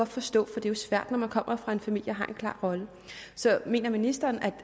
forstå for det er svært når man kommer fra en familie og har en klar rolle så mener ministeren